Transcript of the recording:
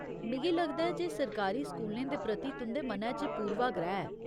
मिगी लगदा ऐ जे सरकारी स्कूलें दे प्रति तुं'दे मनै च पूर्वाग्रह ऐ।